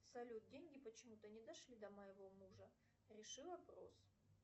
салют деньги почему то не дошли до моего мужа реши вопрос